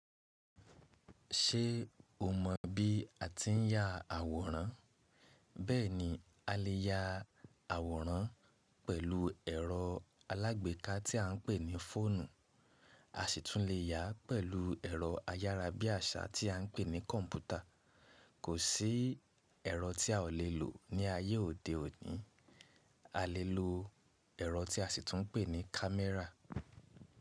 Ṣé o mọ̀ bí a ti ń yá àwòrán? Bẹ́ẹ̀ni, a lè ya àwòrán pẹ̀lú ẹ̀rọ alágbèéká tí à ń pè ní fóònù, a sì tún lè ya pẹ̀lú ẹ̀rọ ayárá bí àṣá tí à ń pè ní kọ̀ǹpútà. Kò sí ẹ̀rọ tí a ò lè lò ní ayé òde òní. A lè lo ẹ̀rọ tí a sì tún ń pè ní camera.